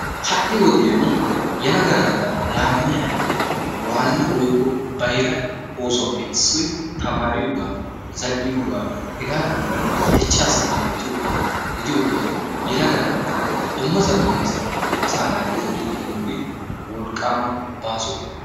Ha'i wodiyaan yelaga naata laammiyaa waanna woykko bayra oossuwaappe issoy tamariyoogaa zal"iyoogaa hegaadankka dichchaassi baaxettiyoogaa gidiyoogaa yelaga naata dumma dummasaan asaa naati zoorriidi de'iyooge wolqqaama baaso.